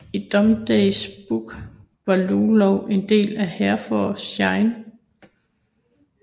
I Domesday Book var Ludlow en del af Herefordshire